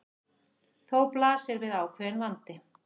Þá blasir við ákveðinn vandi.